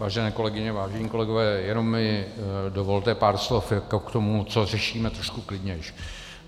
Vážené kolegyně, vážení kolegové, jen mi dovolte pár slov k tomu, co řešíme, trochu klidněji.